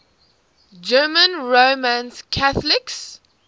german roman catholics